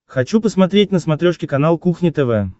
хочу посмотреть на смотрешке канал кухня тв